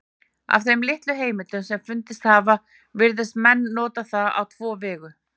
Af þeim litlu heimildum sem fundist hafa virðast menn nota það á tvo vegu.